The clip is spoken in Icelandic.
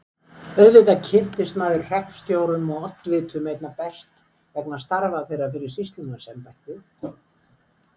Auðvitað kynntist maður hreppstjórum og oddvitum einna best vegna starfa þeirra fyrir sýslumannsembættið.